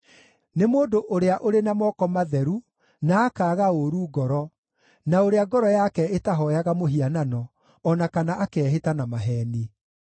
Nĩ mũndũ ũrĩa ũrĩ na moko matheru na akaaga ũũru ngoro, na ũrĩa ngoro yake ĩtahooyaga mũhianano, o na kana akeehĩta na maheeni.